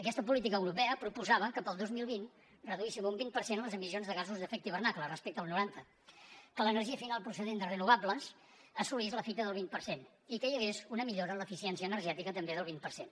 aquesta política europea proposava que per al dos mil vint reduíssim un vint per cent les emissions de gasos d’efecte hivernacle respecte al noranta que l’energia final procedent de renovables assolís la fita del vint per cent i que hi hagués una millora en l’eficiència energètica també del vint per cent